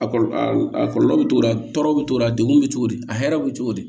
A kɔlɔlɔ a kɔlɔlɔ bɛ t'o la tɔɔrɔ bɛ t'o la degun bɛ cogo di a hɛrɛ bɛ cogo di